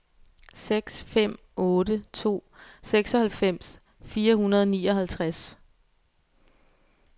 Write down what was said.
seks fem otte to seksoghalvfems fire hundrede og nioghalvtreds